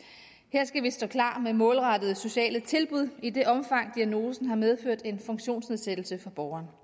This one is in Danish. skal vi stå klar med målrettede sociale tilbud i det omfang diagnosen har medført en funktionsnedsættelse for borgeren